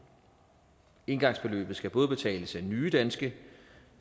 engangsbeløbet skal både betales af nye danske